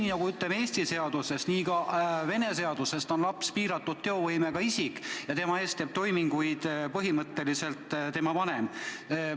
Ja nagu Eesti seaduste kohaselt, on ka Vene seaduste kohaselt laps piiratud teovõimega isik ja tema eest teeb toiminguid põhimõtteliselt tema vanem.